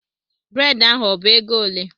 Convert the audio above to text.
Brèd ahụ ọ bụ ego ole?